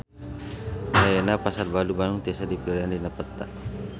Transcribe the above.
Ayeuna Pasar Baru Bandung tiasa dipilarian dina peta